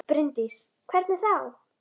Bryndís: Hvernig þá?